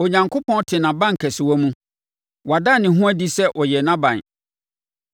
Onyankopɔn te nʼabankɛsewa mu. Wada ne ho adi sɛ ɔyɛ nʼaban.